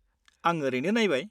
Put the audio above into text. -आं ओरैनो नायबाय।